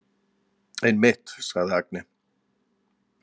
Einmitt, sagði Agne.